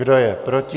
Kdo je proti?